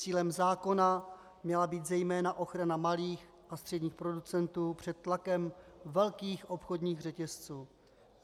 Cílem zákona měla být zejména ochrana malých a středních producentů před tlakem velkých obchodních řetězců.